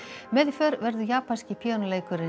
með í för verður japanski píanóleikarinn